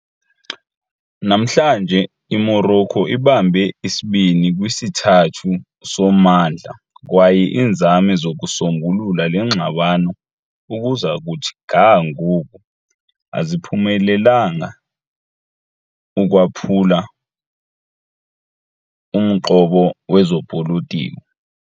Namhlanje, iMorocco ibambe isibini kwisithathu sommandla, kwaye iinzame zokusombulula le ngxabano ukuza kuthi ga ngoku aziphumelelanga ukwaphula umqobo wezopolitiko.